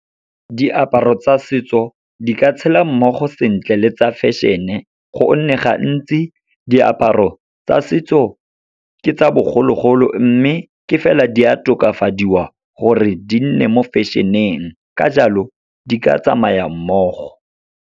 Diaparo tsa setso, di ka tshela mmogo sentle le tsa fashion-e go nne gantsi, diaparo tsa setso ke tsa bogologolo. Mme ke fela, di a tokafadiwa gore di nne mo fashion-eng, ka jalo di ka tsamaya mmogo.